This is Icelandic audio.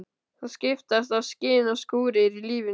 Það skiptast á skin og skúrir í lífinu.